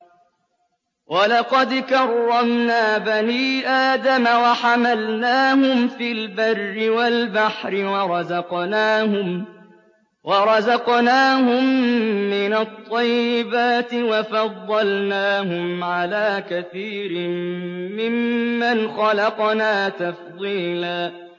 ۞ وَلَقَدْ كَرَّمْنَا بَنِي آدَمَ وَحَمَلْنَاهُمْ فِي الْبَرِّ وَالْبَحْرِ وَرَزَقْنَاهُم مِّنَ الطَّيِّبَاتِ وَفَضَّلْنَاهُمْ عَلَىٰ كَثِيرٍ مِّمَّنْ خَلَقْنَا تَفْضِيلًا